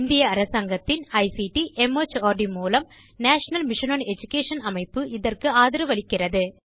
இந்திய அரசாங்கத்தின் ICT mart மூலம் நேஷனல் மிஷன் ஒன் எடுகேஷன் அமைப்பு இதற்கு ஆதரவளிக்கிறது